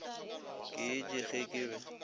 ke etše ge ke be